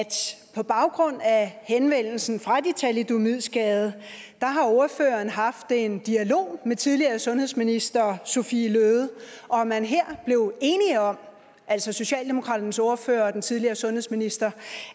på baggrund af henvendelsen fra de thalidomidskadede har ordføreren haft en dialog med tidligere sundhedsminister sophie løhde og at man her blev enige om altså socialdemokratiets ordfører og den tidligere sundhedsminister